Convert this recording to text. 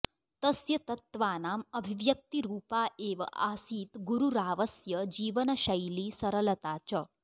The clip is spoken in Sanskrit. तस्य तत्त्वानाम् अभिव्यक्तिरूपा एव आसीत् गुरुरावस्य जीवनशैली सरलता च